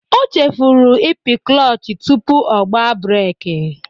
O chefuru ịpị klọch tupu ọ gba breeki.